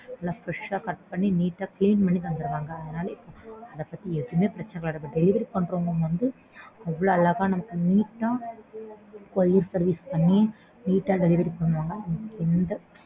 நல்லா fresh ஆ cut பண்ணி neat ஆ clean பண்ணி தந்துருவாங்க. அதனால அதபத்தி எதுவுமே பிரச்சனை இல்ல நம்ம delivery பண்றவங்களும் வந்து அவ்ளோ அழகா நமக்கு neat ஆ courier service பண்ணி neat ஆ delivery பண்ணுவாங்க.